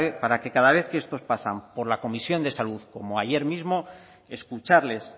para que cada vez que estos pasan por la comisión de salud como ayer mismo escucharles